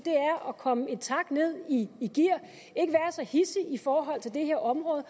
at komme en tak ned i gear og så hidsig i forhold til det her område